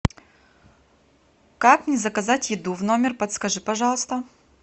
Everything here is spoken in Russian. как мне заказать еду в номер подскажи пожалуйста